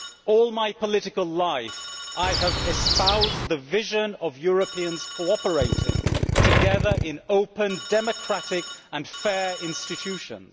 All my political life, I have espoused the vision of Europeans cooperating together in open, democratic and fair institutions.